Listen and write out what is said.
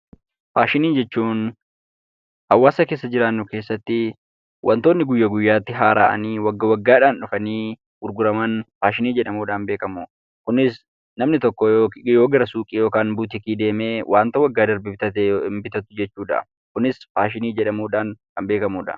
Faashinii jechuun hawaasa keessa jiraannu keessattii wantoonni guyyaa guyyaatti haara'anii waggaa waggaadhaan dhufanii gurguraman maashinii jedhamuudhaan beekamu. Kunis namni tokkoo yoo gara suuqii yookan buutikii deemee waanta waggaa darbe bitate hin bitatu jechuudhaa. Kunis faashinii jedhamuudhaan kan beekamudha.